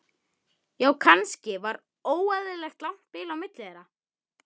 Ég skal skila því.